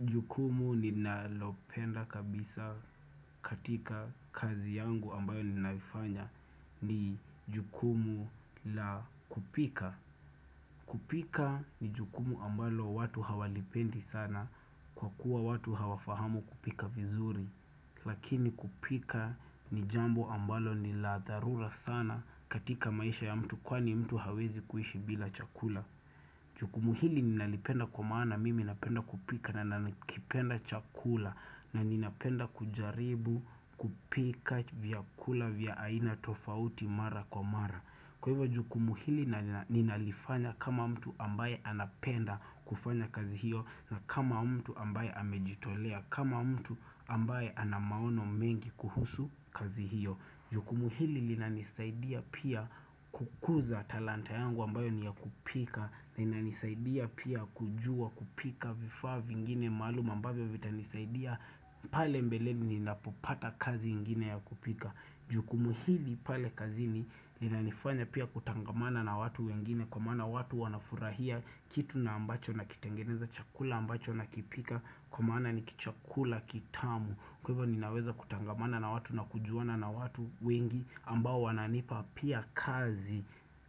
Jukumu ninalopenda kabisa katika kazi yangu ambayo ninaifanya ni jukumu la kupika. Kupika ni jukumu ambalo watu hawalipendi sana kwa kuwa watu hawafahamu kupika vizuri. Lakini kupika ni jambo ambalo ni la dharura sana katika maisha ya mtu kwani mtu hawezi kuishi bila chakula. Jukumu hili ninalipenda kwa maana mimi napenda kupika na nanakipenda chakula na ninapenda kujaribu kupika vyakula vya aina tofauti mara kwa mara Kwa hivyo jukumu hili ninalifanya kama mtu ambaye anapenda kufanya kazi hiyo na kama mtu ambaye amejitolea kama mtu ambaye anamaono mengi kuhusu kazi hiyo Jukumu hili linanisaidia pia kukuza talanta yangu ambayo ni yakupika linanisaidia pia kujua kupika vifaa vingine maaluma ambavyo vita nisaidia pale mbeleni napopata kazi ingine ya kupika Jukumu hili pale kazini linanifanya pia kutangamana na watu wengine Kwa maana watu wanafurahia kitu na ambacho na kitengeneza chakula ambacho na kipika Kwa maana ni kichakula kitamu Kwa hivyo ninaweza kutangamana na watu na kujuana na watu wengi ambao wananipa pia kazi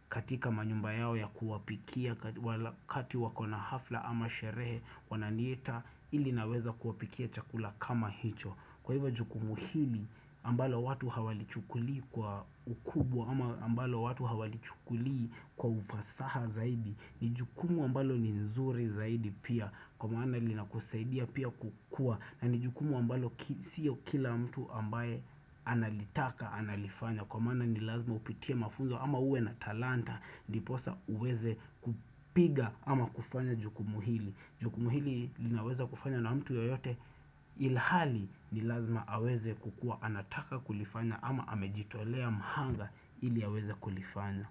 katika manyumba yao ya kuwapikia wakati wako na hafla ama sherehe wananiita ili naweza kuwapikia chakula kama hicho. Kwa hivo jukumu hili ambalo watu hawalichukulii kwa ukubwa ama ambalo watu hawalichukulii kwa ufasaha zaidi ni jukumu ambalo ni nzuri zaidi pia kwa maana linakusaidia pia kukua na ni jukumu ambalo siyo kila mtu ambaye analitaka analifanya Kwa maana ni lazima upitie mafunzo ama uwe na talanta ndiposa uweze kupiga ama kufanya jukumu hili Jukumu hili linaweza kufanya na mtu yoyote ilhali ni lazima aweze kukuwa anataka kulifanya ama amejitolea mahanga ili aweze kulifanya.